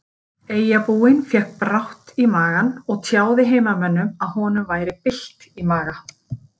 Eyjabúinn fékk brátt í magann og tjáði heimamönnum að honum væri bylt í maga.